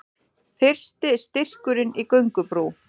Fyrsti styrkurinn í göngubrú